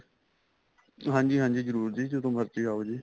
ਹਾਂਜੀ ਹਾਂਜੀ ਜਰੂਰ ਜੀ ਜਦੋਂ ਮਰਜੀ ਆਉ ਜੀ